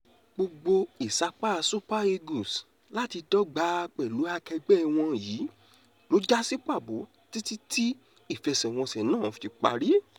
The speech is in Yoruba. gbogbo ìsapá super eagles láti dọ́gba pẹ̀lú akẹgbẹ́ wọn yìí ló já sí pàbó títí tí ìfẹsẹ̀wọnsẹ̀ náà fi parí